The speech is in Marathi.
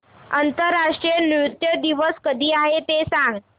आंतरराष्ट्रीय नृत्य दिवस कधी आहे ते सांग